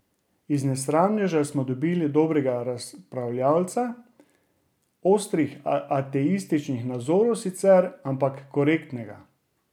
Iz nesramneža smo dobili dobrega razpravljalca, ostrih ateističnih nazorov sicer, ampak korektnega.